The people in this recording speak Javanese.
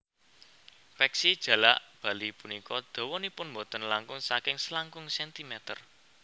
Peksi jalak bali punika dawanipun boten langkung saking selangkung centimeter